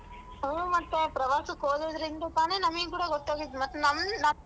ಹ್ಮ್ ಮತ್ತೆ ಪ್ರವಾಸಕ್ ಹೋಗೋದ್ರಿಂದ ತಾನೇ ನಮಿಗ್ ಕೂಡ ಗೊತ್ತಾಗಿದ್ ಮತ್ತ್ ನಮ್ಮ್ನ.